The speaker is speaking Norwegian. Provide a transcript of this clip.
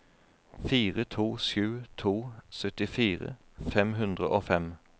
fire to sju to syttifire fem hundre og fem